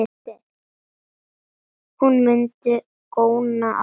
Hún mundi góna á dömuna.